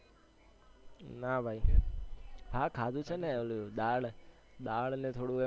ના ભાઈ હા ખાધું છે ને ઓલું દાળ ને થોડું